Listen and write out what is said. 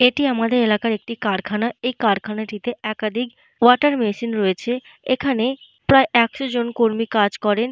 এটি আমাদের এলাকার একটি কারখানা। এই কারখানাটিতে একাধিক ওয়াটার মেশিন রয়েছে । এখানে প্রায় একশজন কর্মী কাজ করেন।